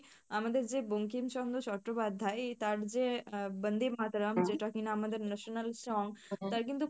আমাদের যে বঙ্কিম চন্দ্রচট্টোপাধ্যায় তার যে আহ বন্দেমাতরম যেটা কিনা আমাদের national song, তার কিন্তু